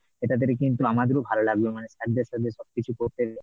এটা থেকে কিন্তু আমাদেরও ভালো লাগবে, মানে sir দের সাথে সবকিছু করতে।